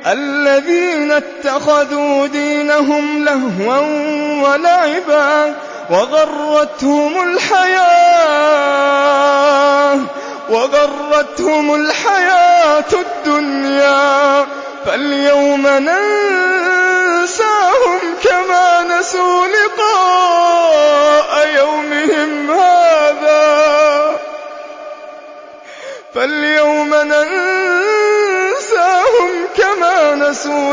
الَّذِينَ اتَّخَذُوا دِينَهُمْ لَهْوًا وَلَعِبًا وَغَرَّتْهُمُ الْحَيَاةُ الدُّنْيَا ۚ فَالْيَوْمَ نَنسَاهُمْ كَمَا نَسُوا